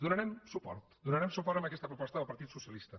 hi donarem suport donarem suport a aquesta proposta del partit socialista